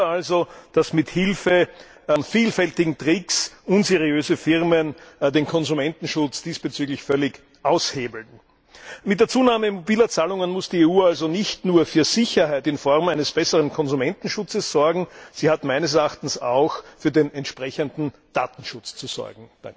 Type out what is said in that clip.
Kein Wunder also, dass mit Hilfe von vielfältigen Tricks unseriöse Firmen den Konsumentenschutz diesbezüglich völlig aushebeln. Mit der Zunahme mobiler Zahlungen muss die EU also nicht nur für Sicherheit in Form eines besseren Konsumentenschutzes sorgen, sie hat meines Erachtens auch für den entsprechenden Datenschutz zu sorgen.